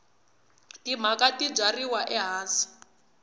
timanga ti byariwa ehansi